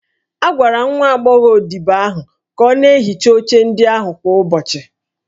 A gwara nwa agbọghọ odibo ahụ ka ọ na-ehicha oche ndị ahụ kwa ụbọchị